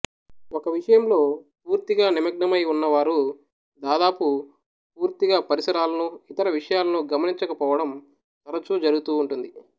ఒక విషయంలో పూర్తిగా నిమగ్నమై ఉన్నవారు దాదాపు పూర్తిగా పరిసరాలనూ ఇతర విషయాలనూ గమనించక పోవడం తరచు జరుగుతూ ఉంటుంది